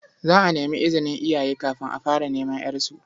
Za a nemi izinin iyaye kafin a fara neman ƴarsu.